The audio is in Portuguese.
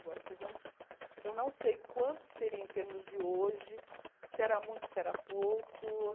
Agora vcs não, eu não sei quanto seria em termos de hoje, se era muito, se era pouco.